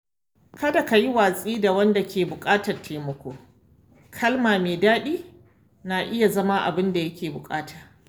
Kada ka yi watsi da wanda ke buƙatar taimako; kalma mai daɗi na iya zama abin da yake buƙata.